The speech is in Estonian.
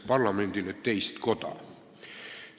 –parlamendile teist koda.